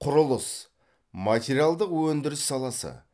құрылыс материалдық өндіріс саласы